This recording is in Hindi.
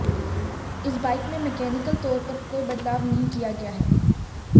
इस बाइक में मकैनिकल तौर पर कोई बदलाव नहीं किया गया है